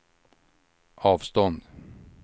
avstånd